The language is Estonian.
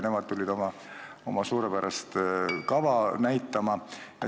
Nemad tulid oma suurepärast kava näitama.